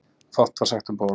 Fátt var sagt um borð.